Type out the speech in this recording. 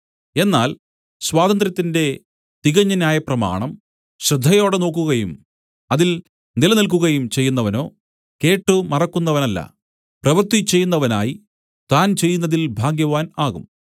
എന്നാൽ സ്വാതന്ത്ര്യത്തിന്റെ തികഞ്ഞ ന്യായപ്രമാണം ശ്രദ്ധയോടെ നോക്കുകയും അതിൽ നിലനിൽക്കുകയും ചെയ്യുന്നവനോ കേട്ട് മറക്കുന്നവനല്ല പ്രവൃത്തി ചെയ്യുന്നവനായി താൻ ചെയ്യുന്നതിൽ ഭാഗ്യവാൻ ആകും